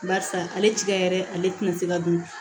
Barisa ale tiga yɛrɛ ale tɛna se ka don